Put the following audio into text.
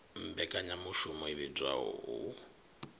mmbekanyamushumo i vhidzwaho u p